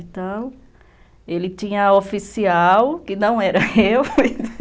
Então, ele tinha oficial, que não era eu,